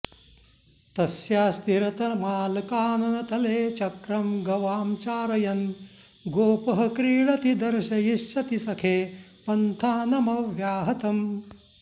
तस्यास्तीरतमालकाननतले चक्रं गवां चारयन् गोपः क्रीडति दर्शयिष्यति सखे पन्थानमव्याहतम्